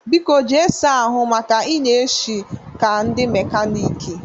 Biko jee saa ahụ maka na ị na-eshi ka ndị mekaniiki!